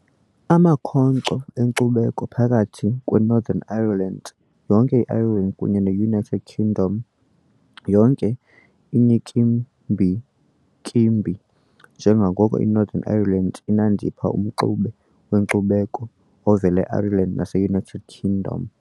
Amakhonkco enkcubeko phakathi kweNorthern Ireland, yonke i-Ireland kunye ne-United Kingdom yonke iyinkimbinkimbi, njengoko iNorthern Ireland inandipha umxube wenkcubeko ovela e-Ireland nase-United Kingdom.